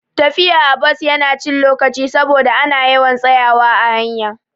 Tafiya a bus Yana cin lokaci saboda ana yawan tsayawa a hanya